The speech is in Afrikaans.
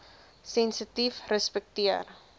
sensitiefrespekteer